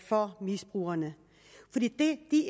for misbrugerne det de